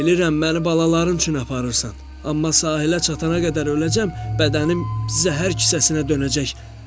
Bilirəm məni balaların üçün aparırsan, amma sahilə çatana qədər öləcəm, bədənim zəhər kisəsinə dönəcək.